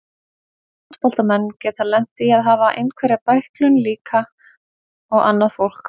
Fótboltamenn geta lent í að hafa einhverja bæklun líka og annað fólk.